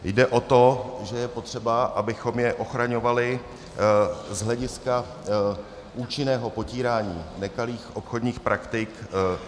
Jde o to, že je potřeba, abychom je ochraňovali z hlediska účinného potírání nekalých obchodních praktik.